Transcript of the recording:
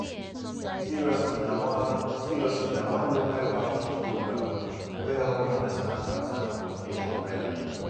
seriously na one seriously na one local outreach program wey help me understand partner communication wella